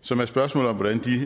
som er spørgsmålet om hvordan de